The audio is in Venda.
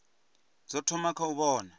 zwi thoma kha u vhona